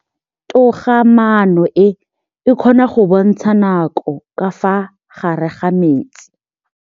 Toga-maanô e, e kgona go bontsha nakô ka fa gare ga metsi.